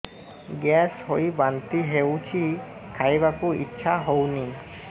gas ହୋଇ ବାନ୍ତି ହଉଛି ଖାଇବାକୁ ଇଚ୍ଛା ହଉନି